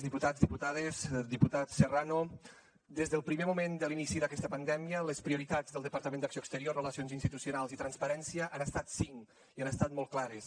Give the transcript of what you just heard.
diputats diputades diputat serrano des del primer moment de l’inici d’aquesta pandèmica les prioritats del departament d’acció exterior relacions institucionals i transparència han estat cinc i han estat molt clares